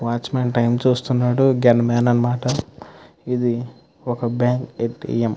Watch Maan time చూస్తునాడు gunman అనమాట ఇది ఒక బ్యాంకు ఏ. టీ. ఎం. .